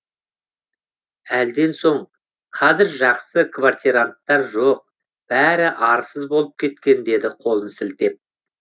әлден соң қазір жақсы квартиранттар жоқ бәрі арсыз болып кеткен деді қолын сілтеп